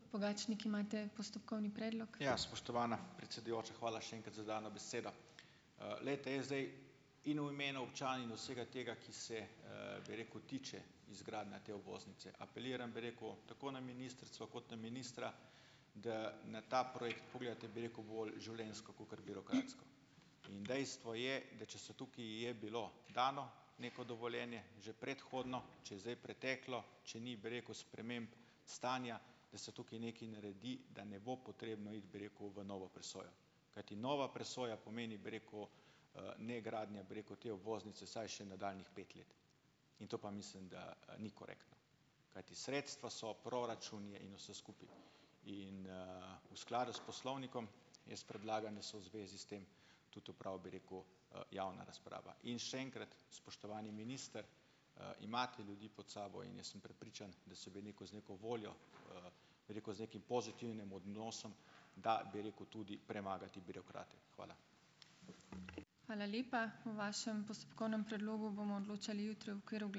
Ja, spoštovana predsedujoča. Hvala še enkrat za dano besedo. Glejte, jaz zdaj in v imenu občan in vsega tega, ki se, bi rekel, tiče izgradnje te obvoznice, apeliram, bi rekel, tako na ministrico kot na ministra, da na ta projekt pogledate, bi rekel, bolj življenjsko kakor birokratsko. In dejstvo je, da če se tukaj je bilo dano neko dovoljenje že predhodno, če je zdaj preteklo, če ni, bi rekel, sprememb stanja, da se tukaj nekaj naredi, da ne bo potrebno iti, bi rekel, u v novo presojo. Kajti nova presoja pomeni, bi rekel, ne gradnja, bi rekel, te obvoznice vsaj še nadaljnjih pet let. In to pa mislim, da, ni korektno. Kajti sredstva so, proračun je in vse skupaj. In, v skladu s poslovnikom jaz predlagam, da se v zvezi s tem tudi opravi, bi rekel, javna razprava. In še enkrat, spoštovani minister, imate ljudi pod sabo in jaz sem prepričan, da se bi neko z neko voljo, bi rekel, z nekim pozitivnim odnosom da, bi rekel, tudi premagati birokrate. Hvala.